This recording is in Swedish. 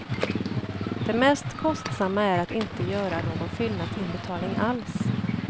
Det mest kostsamma är att inte göra någon fyllnadsinbetalning alls.